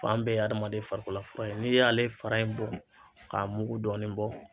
Fan bɛɛ ye hadamaden farikololafura ye, n'i y'ale fara in bɔ k'a mugu dɔɔni bɔ